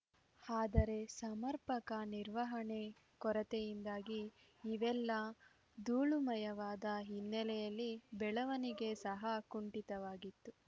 ಆದರೆ ಸಮರ್ಪಕ ನಿರ್ವಹಣೆ ಕೊರತೆಯಿಂದಾಗಿ ಇವೆಲ್ಲಾ ಧೂಳುಮಯವಾದ ಹಿನ್ನೆಲೆಯಲ್ಲಿ ಬೆಳವಣಿಗೆ ಸಹ ಕುಂಠಿತವಾಗಿತ್ತು